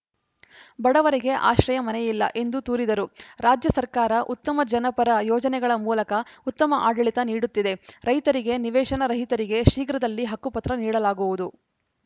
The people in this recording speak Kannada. ಬಡವರಿಗೆ ಆಶ್ರಯ ಮನೆಯಿಲ್ಲ ಎಂದು ತೂರಿದರು ರಾಜ್ಯ ಸರ್ಕಾರ ಉತ್ತಮ ಜನಪರ ಯೋಜನೆಗಳ ಮೂಲಕ ಉತ್ತಮ ಆಡಳಿತ ನೀಡುತ್ತಿದೆ ರೈತರಿಗೆ ನಿವೇಶನ ರಹಿತರಿಗೆ ಶೀಘ್ರದಲ್ಲಿ ಹಕ್ಕುಪತ್ರ ನೀಡಲಾಗುವುದು